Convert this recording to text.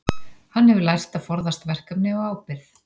Hann hefur lært að forðast verkefni og ábyrgð.